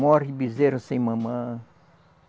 Morre bezerro sem mamã.